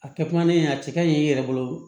A kɛ kuma ne a cɛ ka ɲi i yɛrɛ bolo